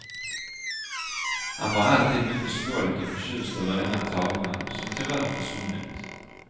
Han var alltid mycket stolt och förtjust över denna tavla, som tyvärr försvunnit.